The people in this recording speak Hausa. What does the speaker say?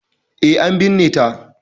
E, an binne ta.